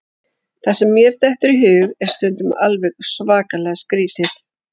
Það sem mér dettur í hug er stundum alveg svakalega skrítið.